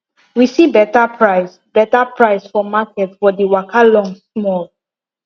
we see better price better price for market but the waka long small